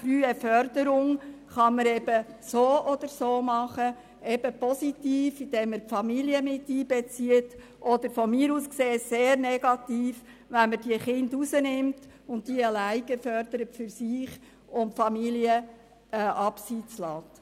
Frühe Förderung kann auf die eine oder andere Weise erfolgen, nämlich positiv, indem die Familien einbezogen werden oder sehr negativ, wenn die Kinder von den Familien getrennt beziehungsweise alleine gefördert und damit die Familien im Abseits gelassen werden.